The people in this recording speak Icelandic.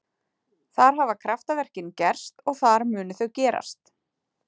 Þar hafa kraftaverkin gerst og þar munu þau gerast.